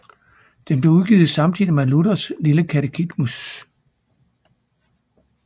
Den blev udgivet samtidig med Luthers lille Katekismus